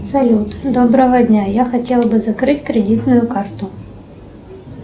салют доброго дня я хотела бы закрыть кредитную карту